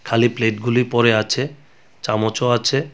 খালি প্লেট গুলি পড়ে আছে চামচও আছে.